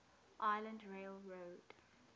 island rail road